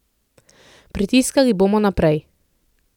Pritiskali bomo naprej.